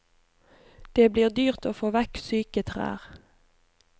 Det blir dyrt å få vekk syke trær.